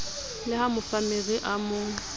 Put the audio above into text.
le ha mofammere a mo